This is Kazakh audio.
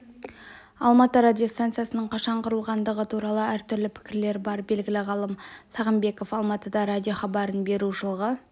алматы радиостанциясының қашан құрылғандығы туралы әртүрлі пікірлер бар белгілі ғалым сағымбеков алматыда радиохабарын беру жылғы